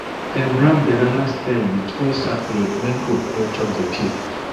dem wrap banana stem with old sackcloth make goat no chop the peel